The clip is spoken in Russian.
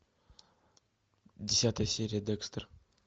десятая серия декстер